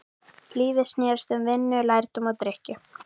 Lífið snerist um vinnu, lærdóm og drykkju.